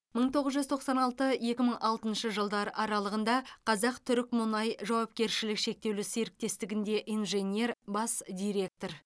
мың тоғыз жүз тоқсан алты екі мың алтыншы жылдар аралығында қазақтүрікмұнай жауапкершілігі шектеулі серіктестігінде инженер бас директор